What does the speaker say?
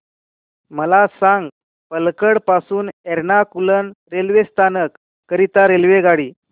मला सांग पलक्कड पासून एर्नाकुलम रेल्वे स्थानक करीता रेल्वेगाडी